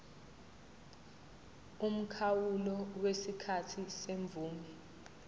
umkhawulo wesikhathi semvume